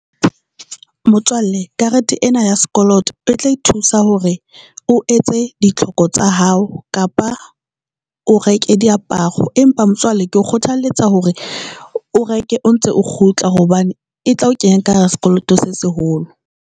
Motswalle karete ena ya sekoloto e tla e thusa hore o etse ditlhoko tsa hao kapa o reke diaparo, empa motswalle ke o kgothaletsa hore o reke o ntse o kgutla hobane e tla o kenya ka hara sekoloto se seholo.